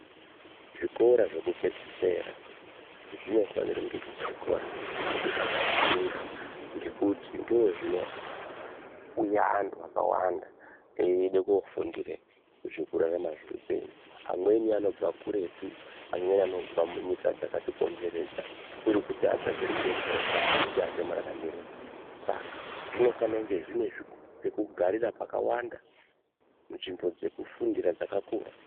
Zvikora zvekupedzisira zvinofanire kunge zviri zvikora zvakakura ngekuti ndozvinouya antu akawanda eide kofundire zvekurarama zveupenyu. Amweni anobva kuretu, amweni anobva munyika dzakati komberedza, kuri kuti atsvake ruzivo rwakakwana rwekuti anoite mararamirei. Saka zvinofano kunge zvine pekugarira pakawanda, nzvimbo dzekufundira dzakakura.